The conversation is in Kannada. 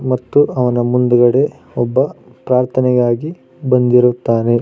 ಮತ್ತು ಅವನ ಮುಂದುಗಡೆ ಒಬ್ಬ ಪ್ರಾರ್ಥನೆಗಾಗಿ ಬಂದಿರುತ್ತಾನೆ.